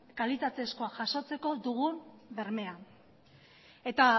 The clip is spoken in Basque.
kalitatezkoa jasotzeko dugun bermea eta